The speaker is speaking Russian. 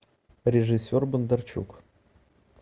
режиссер бондарчук